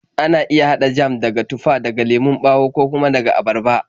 Ana iya haɗa jam daga tufa, daga lemon ɓawo, ko kuma daga abarba.